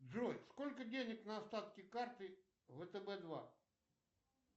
джой сколько денег на остатке карты втб два